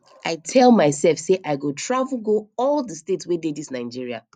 i tell myself say i go travel go all the states wey dey dis nigeria